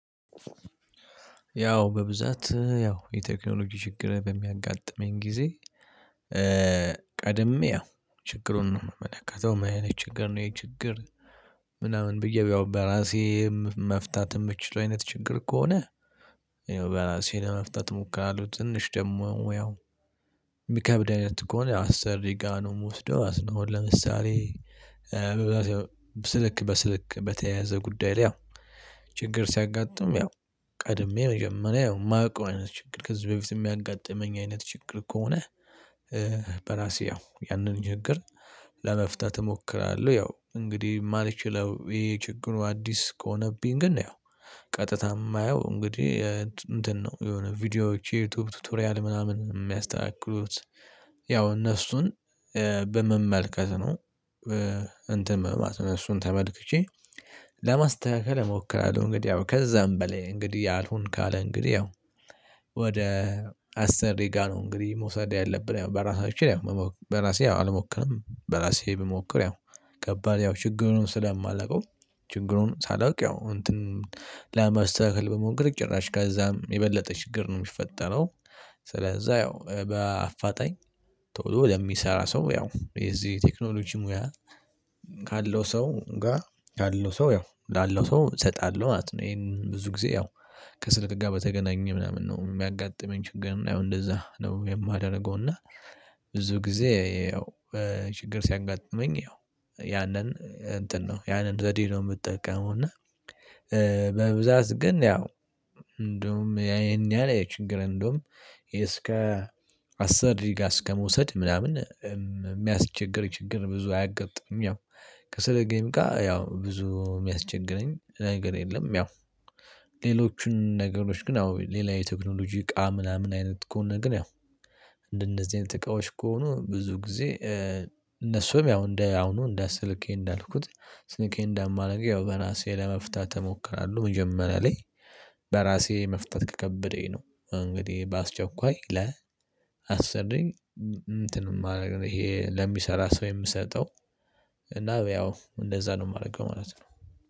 ያው በብዛት ያው የቴክኖሎጂ ችግር በሚያጋጥመኝ ጊዜ ቀድሜ አዎ ችግሩን ነው የምመለከተው ምን አይነት ችግር ነው ይሄ ችግር ምናምን ብዬ ያው በራሴ መፍታት የምችለው አይነት ችግር ከሆነ ያው በራሴ ለመፍታት እሞክራለሁ ትንሽ ደግሞ ያው የሚከብደኝ አይነት ከሆነ አሰሪ ጋር ነው ምወስደው አዝነው ለምሳሌ በብዛት ያው ስልክ በስልክ በተያያዘ ጉዳይ ላይ ያው ችግር ሲያጋጥም ያው ቀድሜ መጀመሪያ የማውቀው አይነት ችግር ከዚህ በፊት የሚያጋጥመኝ አይነት ችግር ከሆነ በራሴ ያው ያንን ችግር ለመፍታት እሞክራለሁ። ያው እንግዲህ የማልችለው ይሄ ችግሩ አዲስ ከሆነብኝ ግን ነው ቀጥታ የማየው እንግዲህ እንትን ነው የሆነ ቪዲዮዎች የዩቲዩብ ቱቶሪያል ምናምን የሚያስተካክሉት ያው እነሱን በመመልከት ነው። መማት እነሱን ተመልክቼ ለመስተካከል እሞክራለሁ እንግዲህ ያው ከዛም በላይ እንግዲህ አልሆን ካለ እንግዲህ ያው ወደ አስር ደቂቃ ነው እንግዲህ መውሰድ ያለብን ያው በራሳችን ያው በራሴ ያው አልሞክርም በራሴ ብሞክር ያው ከባድ ያው ችግሩን ስለማላውቀው ችግሩን ሳላውቅ ያው እንትን ለማስተካከል ብሞክር ጭራሽ ከዛም የበለጠ ችግር ነው የሚፈጠረው ስለዚህ ያው በአፋጣኝ ቶሎ ለሚሰራ ሰው ያው የዚህ ቴክኖሎጂ ሙያ ካለው ሰው ጋር ካለው ሰው ያው ላለው ሰው እሰጣለሁ ማለት ነው። ይሄን ብዙ ጊዜ ያው ከስልክ ጋር በተገናኘ ምናምን ነው የሚያጋጥመኝ ችግር ያው እንደዛ ነው የማደርገው እና ብዙ ጊዜ ያው ችግር ሲያጋጥመኝ ያው ያንን እንትን ነው ያንን ዘዴ ነው የምጠቀመው እና በብዛት ግን ያው እንደውም ያ ይሄን ያህል ችግር እንደውም እስከ አሰሪጋ አስከመውሰድ ምናምን የሚያስቸግር ችግር ብዙ አያገጥምም ያው ከስልኬምጋ ያው ብዙ የሚያስቸግረኝ ነገር የለም ያው ሌሎቹን ነገሮች ግን አዎ ሌላ የቴክኖሎጂ እቃ ምናምን አይነት ከሆነ ኝ ያው እንደነዚህ አይነት እቃዎች ከሆኑ ብዙ ጊዜ እነሱም ያው እንደ አሁኑ እንደ ስልኬ እንዳልኩት ስልኬን እንዳማረግ ያው በራሴ ለመፍታት እሞክራለሁ መጀመሪያ ላይ በራሴ መፍታት ከከበደኝ ነው እንግዲህ በአስቸኳይ ለአሰሪ እንትን የማደርገው ይሄ ለሚሰራ ሰው የምሰጠው እና ያው እንደዛ ነው የማደርገው ማለት ነው።